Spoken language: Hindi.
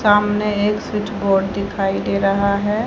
सामने एक स्विच बोर्ड दिखाई दे रहा है।